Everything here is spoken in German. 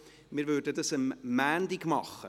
Wir würden das am Montag machen.